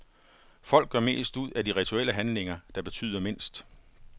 Folk gør mest ud af de rituelle handlinger, der betyder mindst.